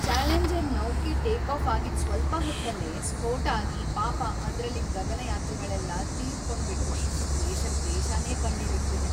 Challenger ನೌಕೆ take off ಆಗಿದ್ ಸ್ವಲ್ಪ ಹೊತ್ತಲ್ಲೇ ಸ್ಫೋಟ ಆಗಿ ಪಾಪ ಅದ್ರಲ್ಲಿದ್ ಗಗನಯಾತ್ರಿಗಳೆಲ್ಲ ತೀರ್ಕೊಂಡ್ಬಿಟ್ರು.. ದೇಶಕ್‌ ದೇಶನೇ ಕಣ್ಣೀರಿಡ್ತಿದೆ.